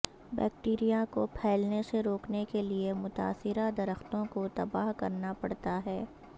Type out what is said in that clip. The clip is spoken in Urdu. بیکٹیریا کو پھیلنے سے روکنے کے لیے متاثرہ درختوں کو تباہ کرنا پڑتا ہے